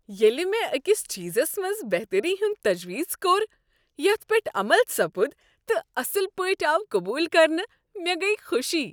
ییلِہ مےٚ أکِس چیزس منٛز بہتری ہُند تجویز کوٚر یتھ پیٹھ عمل سپُد تہٕ اصل پٲٹھۍ آو قبول کرنہٕ ،مےٚ گٔیۍ خوشی ۔